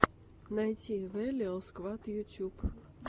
найти вэлиал сквад ютьюб